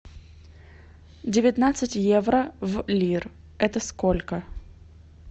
девятнадцать евро в лир это сколько